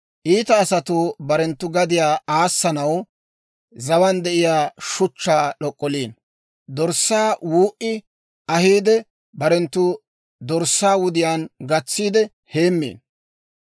Iita asatuu barenttu gadiyaa aassanaw, zawaan de'iyaa shuchchaa d'ok'oliino. Dorssaakka wuu"i ahiide, barenttu dorssaa wudiyaan gatsiide heemmiino.